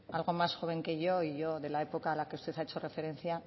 algo más joven que yo y yo de la época a la que usted ha hecho referencia